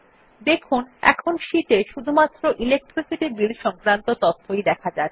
দেখুন এখন শীট এ শুধুমাত্র ইলেকট্রিসিটি বিল সংক্রান্ত তথ্যই দেখা যাচ্ছে